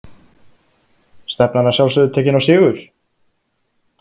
Stefnan að sjálfsögðu tekinn á sigur?